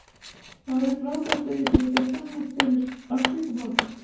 Það væri frábært ef ég get gert samning fyrir Afríkumótið.